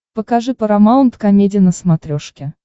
покажи парамаунт комеди на смотрешке